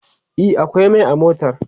e akwai Mai a motar